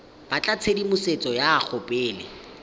batla tshedimosetso go ya pele